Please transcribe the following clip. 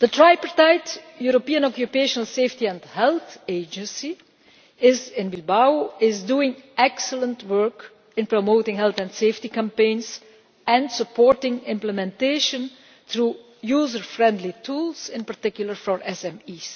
The tripartite European Occupational Safety and Health Agency is in Bilbao and is doing excellent work in promoting health and safety campaigns and supporting implementation through user friendly tools, in particular for SMEs.